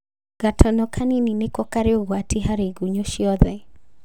Gatono kanini nĩko karĩ ũgwati harĩ igunyo ciothe